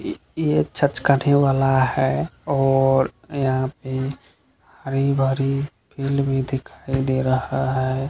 ये ये छचकाने वाला है और यहाँ पे हरी-भरी फिलम भी दिखाई दे रहा है।